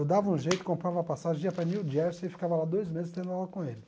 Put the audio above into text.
Eu dava um jeito, comprava passagem, ia para New Jersey e ficava lá dois meses tendo aula com ele.